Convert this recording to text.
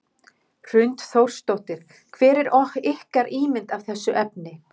Hrund Þórsdóttir: Hver er ykkar ímynd af þessu efni?